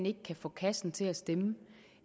ikke kan få kassen til at stemme